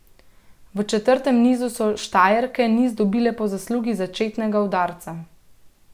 V četrtem nizu so Štajerke niz dobile po zaslugi začetnega udarca.